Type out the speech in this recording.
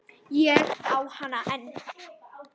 Ég á hana enn.